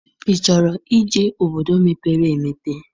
Ị chọrọ ije obodo mepere emepe?